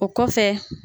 O kɔfɛ